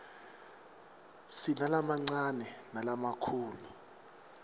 sinalamancane nalamakhulu